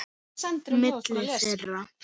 Milli þeirra